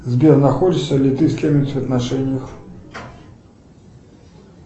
сбер находишься ли ты с кем нибудь в отношениях